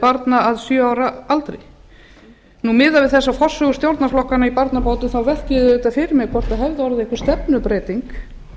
barna að sjö ára aldri miðað við þessa forsögu stjórnarflokkanna í barnabótum velti ég því auðvitað fyrir mér hvort það hefði orðið einhver stefnubreyting